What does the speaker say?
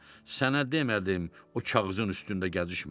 Sənə demədim o kağızın üstündə gəzişmə.